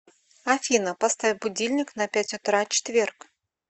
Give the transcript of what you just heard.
афина поставь будильник на пять утра четверг